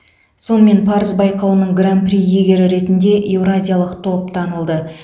сонымен парыз байқауының гран при иегері ретінде еуразиялық топ танылды